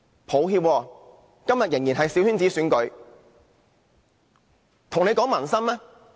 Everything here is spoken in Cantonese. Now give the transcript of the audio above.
抱歉，今天仍然是由小圈子選舉產生。